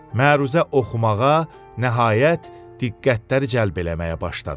Məruzə oxumağa nəhayət diqqətləri cəlb eləməyə başladı.